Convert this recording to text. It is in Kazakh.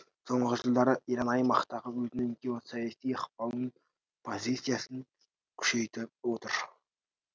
соңғы жылдары иран аймақтағы өзінің геосаяси ықпалын позициясын күшейтіп отыр